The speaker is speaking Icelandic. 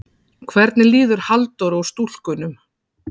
Hvernig líður Halldóru og stúlkunum?